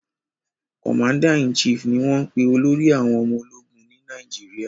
"Commander in chief" ní wón pè olórí àwọn omo ológun Ni Nàìjíríà